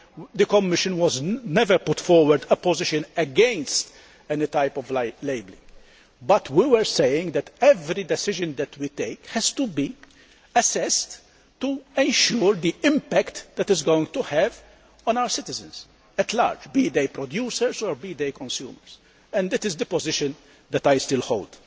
The Commission has never put forward a position against any type of labelling, but we were saying that every decision we take has to be assessed to ensure the impact it is going to have on our citizens at large, be they producers or be they consumers, and that is the position that I still hold.